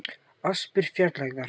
Aspir fjarlægðar